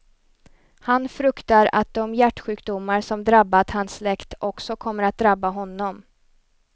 Han fruktar att de hjärtsjukdomar som drabbat hans släkt också kommer att drabba honom.